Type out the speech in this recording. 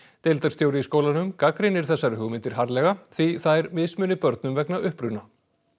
deildarstjóri í skólanum gagnrýnir þessar hugmyndir harðlega því þær mismuni börnum vegna uppruna